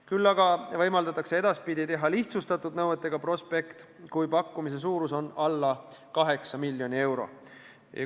Küll aga võimaldatakse edaspidi teha lihtsustatud nõuetele vastav prospekt, kui pakkumise suurus on alla 8 miljoni euro.